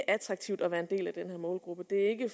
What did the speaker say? attraktivt at være en del af den her målgruppe det er ikke